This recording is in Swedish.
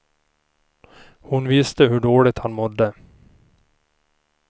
Hon visste hur dåligt han mådde.